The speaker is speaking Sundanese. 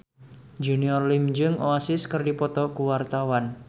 Junior Liem jeung Oasis keur dipoto ku wartawan